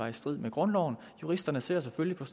i strid med grundloven juristerne ser selvfølgelig på